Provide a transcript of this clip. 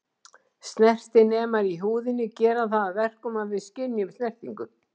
Snertinemar í húðinni gera það að verkum að við skynjum snertingu.